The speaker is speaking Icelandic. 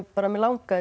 mig langaði